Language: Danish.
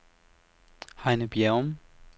Heine Bjerrum